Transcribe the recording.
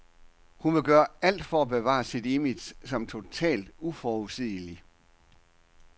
Hun vil gøre alt for at bevare sit image som totalt uforudsigelig.